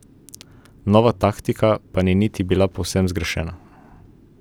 Nova taktika pa niti ni bila povsem zgrešena.